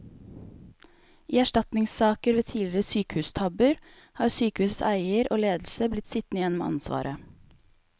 I erstatningssaker ved tidligere sykehustabber har sykehusets eier og ledelse blitt sittende igjen med ansvaret.